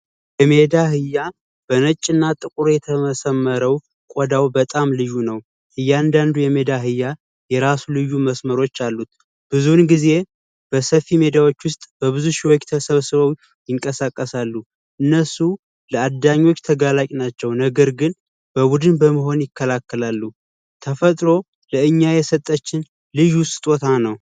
የሜዳ አህያ በነጭና ጥቁር የተሰመረው ቆዳ በጣም ልዩ ነው። አንዳንዱ የሜዳ አህያ የራሱ መስመሮች አሉት፤ ብዙ ጊዜ በሰፊ ሜዳ ውስጥ በብዙ ሰዎች ተሰብስበው ሲንቀሳቀሳሉ ለአዳኞች ተጋላጭ ናቸው። ነገር ግን በቡድን በመሆን ይከላከላሉ። ተፈጥሮ ለእኛ የሰጣችን ልዩ ስጦታ ነው።